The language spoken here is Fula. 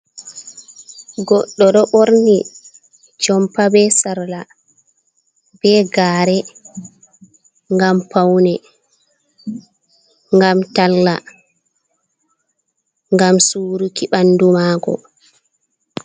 Goɗɗo ɗo ɓorni jompa be sarla be gare ngam paune, ngam talla, ngam suruki ɓandu mako.